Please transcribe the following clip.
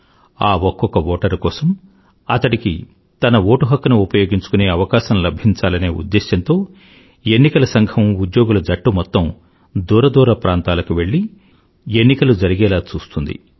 ఆ ఒక్కొక్క ఓటరు కోసం అతడికి తన ఓటు హక్కుని ఉపయోగించుకునే అవకాశం లభించాలనే ఉద్దేశంతో ఎన్నికల సంఘం ఉద్యోగుల జట్టు మొత్తం దూర దూర ప్రాంతాలకు వెళ్ళి ఎన్నికలు జరిగేలా చూస్తుంది